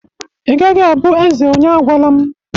Ị gaghị abụ eze onye agwalam!